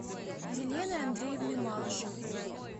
еленой андреевной малышевой